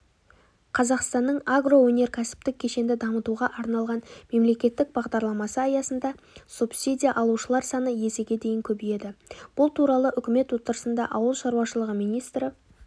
қазақстанның агроөнеркәсіптік кешенді дамытуға арналған мемлекеттік бағдарламасы аясында субсидия алушылар саны есеге дейін көбейеді бұл туралы үкімет отырысында ауыл шаруашылығы министрі